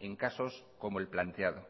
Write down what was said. en casos como el planteado